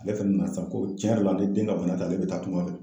Ale fɛnɛ nasa ko tiɲɛ yɛrɛ la ale den ka bana tɛ ale bɛ taa tunga fɛ